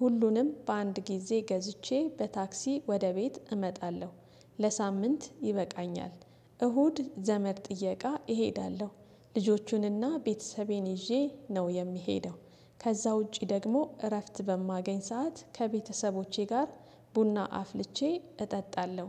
ሁሉንም በአንድ ጊዜ ገዝቼ በታክሲ ወደ ቤት እመጣለሁ ለሳምንት ይበቃኛ፤ እሁድ ዘመድ ጥየቃ እሄዳለሁ፣ ልጆቹንና ቤተሰቤን ይዤ ነው የሚሄደው ከዛ ውጪ ደግሞ እረፍት በማገኝ ሰዓት ከቤተሰቦቼ ጋር ቡና አፍልቼ እጠጣለሁ።